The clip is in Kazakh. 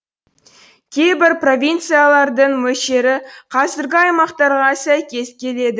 кейбір провинциялардың мөлшері қазіргі аймақтарға сәйкес келеді